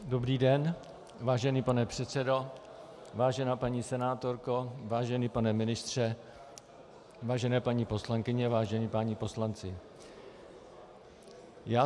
Dobrý den, vážený pane předsedo, vážená paní senátorko, vážený pane ministře, vážené paní poslankyně, vážení páni poslanci.